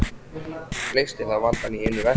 Leysti það vandann í einu vetfangi.